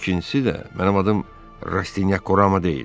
İkincisi də mənim adım Rastinyak Orama deyil.